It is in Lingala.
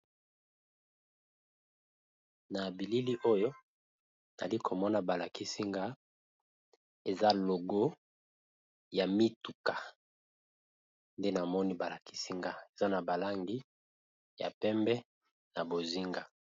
Na bilili oyo nayali komona ba lakisi nga eza logo ya mituka nde namoni balakisi nga eza na ba langi ya pembe na bozinga.